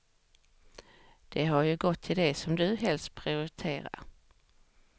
De har ju gått till det som du helst prioriterar.